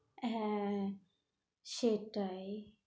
হ্যাঁ, সেটাই